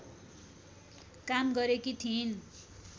काम गरेकी थिइन्